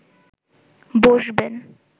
বসবেন